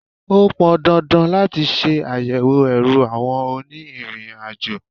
Ó pọn dandan láti ṣe àyẹ̀wò ẹrù àwọn òní ìrìn àjò.